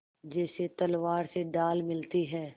जैसे तलवार से ढाल मिलती है